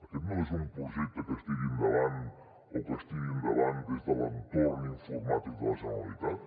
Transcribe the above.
aquest no és un projecte que es tiri endavant des de l’entorn informàtic de la generalitat